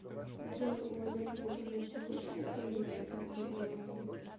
джой у олега владимировича высшее экономическое образование